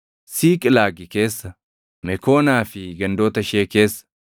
Siiqlaagi keessa, Mekoonaa fi gandoota ishee keessa,